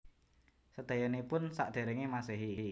Sedayanipun Sakderenge Masehi